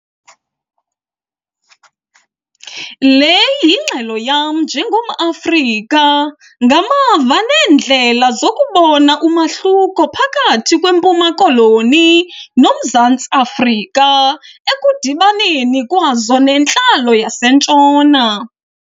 Le yingxelo yam njengomAfrika, ngamava neendlela zokubona umahluko phakathi kweMpuma noMzantsi Afrika ekudibaneni kwazo nentlalo yaseNtshona.